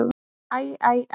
Æ, æ, æ.